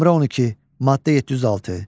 Nömrə 12, maddə 706.